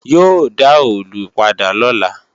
Yóò dá òòlù padà lọ́la